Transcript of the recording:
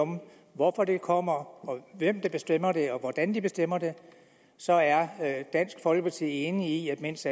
om hvorfor det kommer hvem der bestemmer det og hvordan de bestemmer det så er dansk folkeparti enige i at mens